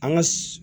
An ka